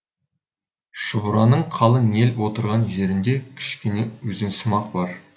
шұбыраның қалың ел отырған жерінде кішкене өзенсымақ бар